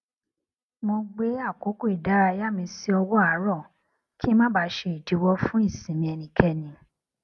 mo gbé àkókò ìdárayá mi sí ọwọ àárọ kí n má baà ṣe ìdíwọ fún ìsinmi ẹnikẹni